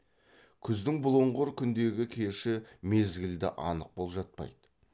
күздің бұлыңғыр күндегі кеші мезгілді анық болжатпайды